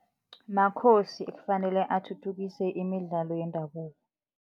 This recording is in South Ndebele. Makhosi ekufanele athuthukise imidlalo yendabuko.